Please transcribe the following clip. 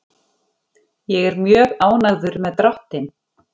Ég er mjög ánægður með dráttinn.